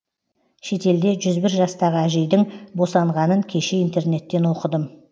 шетелде жүз бір жастағы әжейдің босанғанын кеше интернеттен оқыдым